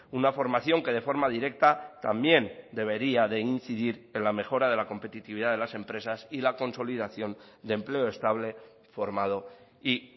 una formación que de forma directa también debería de incidir en la mejora de la competitividad de las empresas y la consolidación de empleo estable formado y